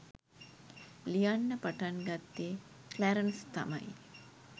ලියන්න පටන් ගත්තෙ ක්ලැරන්ස් තමයි